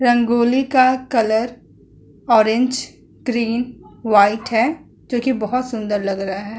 रंगोली का colour orange green white है जो कि बोहोत सुन्दर लग रहा है।